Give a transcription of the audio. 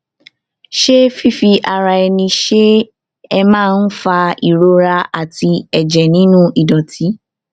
ṣé fífi ara ẹni ṣe é máa ń fa ìrora àti ẹjẹ nínú ìdọtí